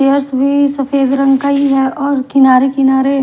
chairs भी सफेद रंग का ही है और किनारे किनारे--